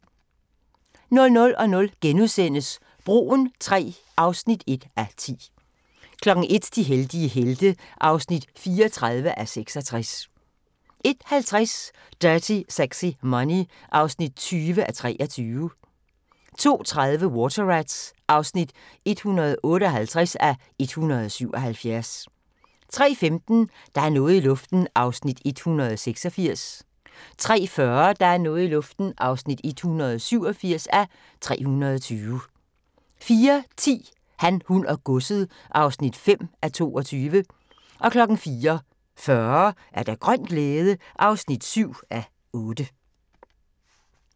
00:00: Broen III (1:10)* 01:00: De heldige helte (34:66) 01:50: Dirty Sexy Money (20:23) 02:30: Water Rats (158:177) 03:15: Der er noget i luften (186:320) 03:40: Der er noget i luften (187:320) 04:10: Han, hun og godset (5:22) 04:40: Grøn glæde (7:8)